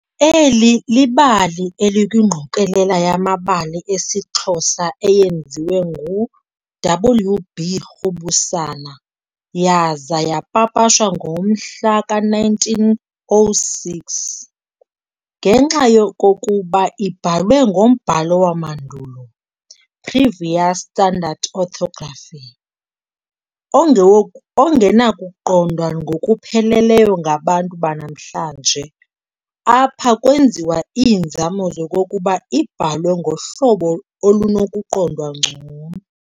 Eli libali elikwingqokolela yamabali esiXhosa eyenziwa ngu-W.B. Rhubusana yaza yapapashwa ngo-1906. Ngenxa yokokuba ibhalwe ngombhalo wamandulo, Previous Standard Orthography, ongewoku ongenakuqondwa ngokupheleleyo ngabantu banamhlanje, apha kwenziwa iinzame zokokuba ibhalwe ngohlobo olunokuqondwa ngcono.